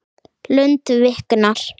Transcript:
Lund viknar.